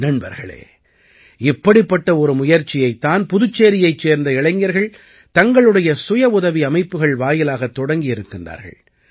நண்பர்களே இப்படிப்பட்ட ஒரு முயற்சியைத் தான் புதுச்சேரியைச் சேர்ந்த இளைஞர்கள் தங்களுடைய சுயவுதவி அமைப்புகள் வாயிலாகத் தொடங்கி இருக்கிறார்கள்